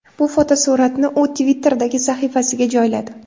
Bu fotosuratni u Twitter’dagi sahifasiga joyladi.